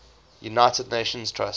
united nations trust